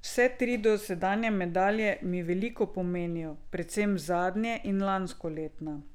Vse tri dosedanje medalje mi veliko pomenijo, predvsem zadnje in lanskoletna.